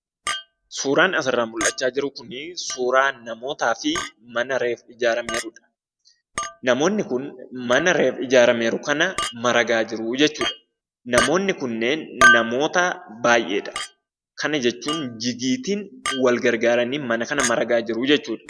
Suuraan asirraa mul'achaa jiru kunii , suuraa namootaafi mana reefu ijaarramaa jirudha namoonni kun mana reefu ijaarramee jiru kanaa maragaa jiruu jechuudha. Namoonni kunneen namoota baayyeedha kana jechuun jigiitiin wal gargaaranii mana kana maragaa jiruu jechuudha.